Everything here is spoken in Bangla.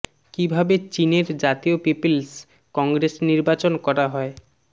কিভাবে চীন এর জাতীয় পিপলস কংগ্রেস নির্বাচন করা হয়